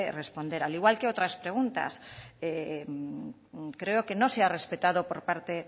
responder al igual que otras preguntas creo que no se ha respetado por parte